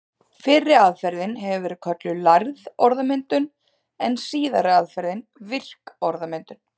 Fyrri aðferðin hefur verið kölluð lærð orðmyndun en síðari aðferðin virk orðmyndun.